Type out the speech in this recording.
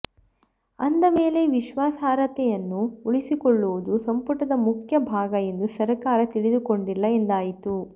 ಅಂದ ಮೇಲೆ ವಿಶ್ವಾಸಾರ್ಹತೆಯನ್ನು ಉಳಿಸಿಕೊಳ್ಳುವುದು ಸಂಪುಟದ ಮುಖ್ಯ ಭಾಗ ಎಂದು ಸರಕಾರ ತಿಳಿದುಕೊಂಡಿಲ್ಲ ಎಂದಾಯಿತು